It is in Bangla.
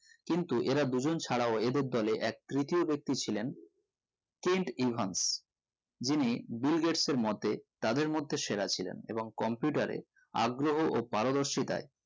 কিন্তু এরাদুজন ছাড়াও এদের দোলে এক তৃতীয় বেক্তি ছিলেন কেন্ট ইভান্স যিনি বিল গেটস এর মতে তাদের মধ্যে সেরা ছিলেন এবং computer এ আগ্রহ এবং পারদর্শিতায়